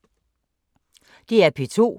DR P2